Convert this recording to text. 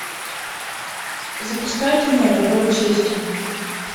запускай кино дорога чести